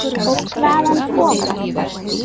Og hvaðan kom hann?